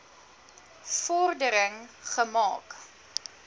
vor dering gemaak